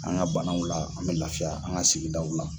An ka banaw la, an bɛ lafiya an ka sigidaw la.